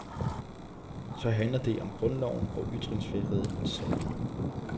Så handler det om grundloven og ytringsfriheden, sagde hun.